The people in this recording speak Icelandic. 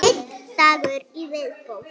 Einn dagur í viðbót!